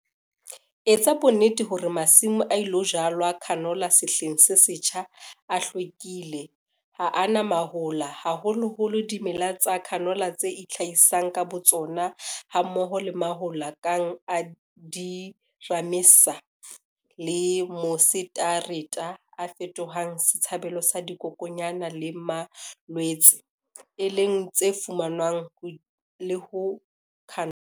Etsa bonnete hore masimo a ilo jalwa canola sehleng se setjha a hlwekisitswe, ha a na mahola, haholoholo dimeleng tsa canola tse itlhahisang ka botsona hammoho le mahola kang a di-ramenas le mosetareta, a fetohang setshabelo sa dikokwanyana le malwetse, e leng tse fumanwang le ho canola.